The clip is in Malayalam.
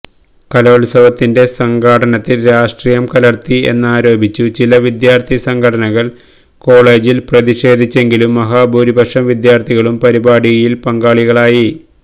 കലോത്സവത്തിന്റെ സംഘാടനത്തിൽ രാഷ്ട്രീയം കലർത്തി എന്നാരോപിച്ചു ചില വിദ്യാർത്ഥി സംഘടനകൾ കോളേജിൽ പ്രതിഷേധിച്ചെങ്കിലും മഹാഭൂരിപക്ഷം വിദ്യാർത്ഥികളും പരിപാടിയിൽ പങ്കാളികളായി